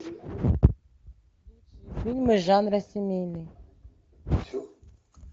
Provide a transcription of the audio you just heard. фильмы жанра семейный